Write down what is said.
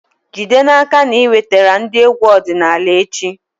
Jide n'aka na ị wetara ndị egwu ọdịnala echi!